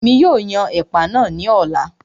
Èmi yóò yan ẹ̀pà náà ní ọ̀la